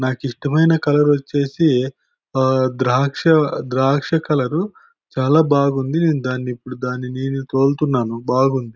నాకిష్టమైన కలర్ వచ్చేసి ఆ ద్రాక్ష ద్రాక్ష కలర్ చాలా బాగుంది. నేను దాన్నిప్పుడు దాన్ని నేను తోలుతున్నాను. బాగుంది.